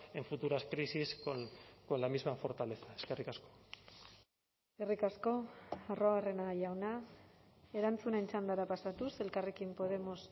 en futuras crisis con la misma fortaleza eskerrik asko eskerrik asko arruabarrena jauna erantzunen txandara pasatuz elkarrekin podemos